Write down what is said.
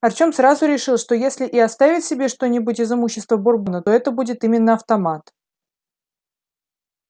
артём сразу решил что если и оставит себе что-нибудь из имущества бурбона то это будет именно автомат